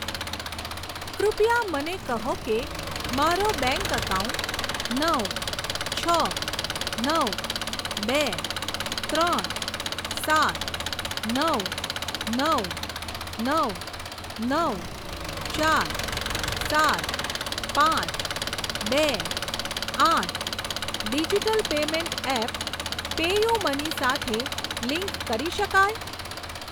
કૃપયા મને કહો કે મારો બેંક એકાઉન્ટ નવ છ નવ બે ત્રણ સાત નવ નવ નવ નવ ચાર સાત પાંચ બે આઠ ડીજીટલ પેમેંટ એપ પેયુમની સાથે લિંક કરી શકાય?